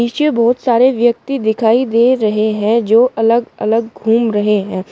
नीचे बहोत सारे व्यक्ति दिखाई दे रहे हैं जो अलग अलग घूम रहे हैं।